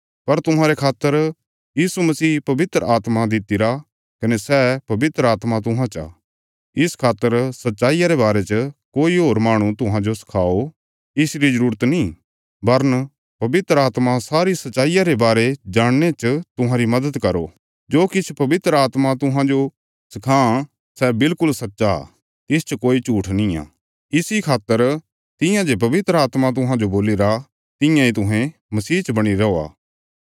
पर तुहांरे खातर यीशु मसीह पवित्र आत्मा दित्तिरा कने सै पवित्र आत्मा तुहां चा इस खातर सच्चाईया रे बारे च कोई होर माहणु तुहांजो सखाओ इसरी जरूरत नीं बरन पवित्र आत्मा सारी सच्चाईया रे बारे जाणने च तुहांरी मदद करो जो किछ पवित्र आत्मा तुहांजो सखां सै विल्कुल सच्च आ तिसच कोई झूट्ठ निआं इसी खातर तियां जे पवित्र आत्मा तुहांजो बोलीरा तियां इ तुहें मसीह च बणीरे रौआ